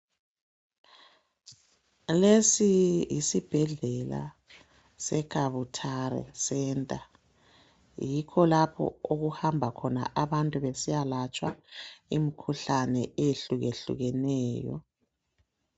Lesi yisibhedlela seKabutare centre . Yikho lapho okuhamba khona abantu besiyalatshwa imikhuhkane eyehlukehlukeneyo.